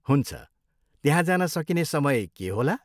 हुन्छ, त्यहाँ जान सकिने समय के होला?